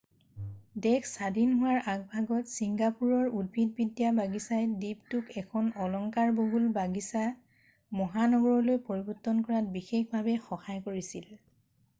দেশ স্বাধীন হোৱাৰ আগভাগত চিংগাপুৰৰ উদ্ভিদবিদ্যা বাগিচাই দ্বীপটোক এখন অলংকাৰ বহুল বাগিচা মহানগৰলৈ পৰিবৰ্তন কৰাত বিশেষভাৱে সহায় কৰিছিল